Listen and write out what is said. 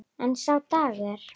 En sá dagur!